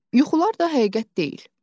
Yuxular da həqiqət deyil."